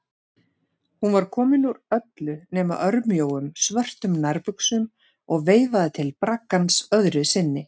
Hún var komin úr öllu nema örmjóum, svörtum nærbuxum og veifaði til braggans öðru sinni.